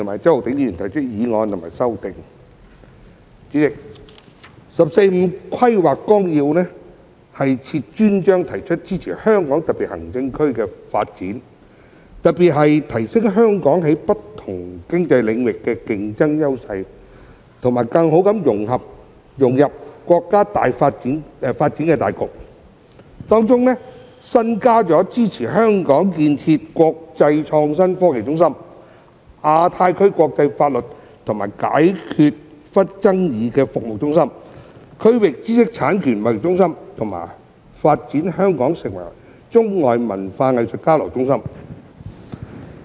代理主席，《十四五規劃綱要》設有專章，提出支持香港特別行政區的發展，特別是提升香港在不同經濟領域的競爭優勢和更好地融入國家發展大局，並首次提出支持香港建設國際創新科技中心、亞太區國際法律及解決爭議服務中心和區域知識產權貿易中心，以及發展香港成為中外文化藝術交流中心。